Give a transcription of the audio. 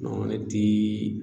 Bɔn ne tii